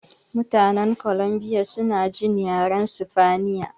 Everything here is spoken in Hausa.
Mutanen Columbia suna jin yaren sifaniya